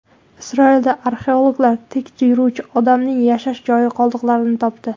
Isroilda arxeologlar tik yuruvchi odamning yashash joyi qoldiqlarini topdi.